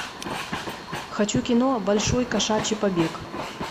хочу кино большой кошачий побег